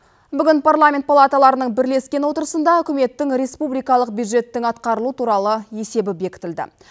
бүгін парламент палаталарының бірлескен отырысында үкіметтің республикалық бюджеттің атқарылу туралы есебі бекітілді